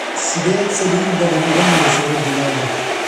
Sideed saliid badan uga marisay wajigaaga?